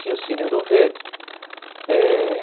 Tinha o Cine Ouro Verde. Eh